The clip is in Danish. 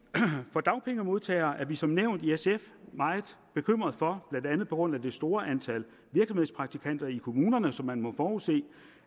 for dagpengemodtageres vedkommende er vi som nævnt i sf meget bekymret for blandt andet på grund af det store antal virksomhedspraktikanter i kommunerne som man må forudse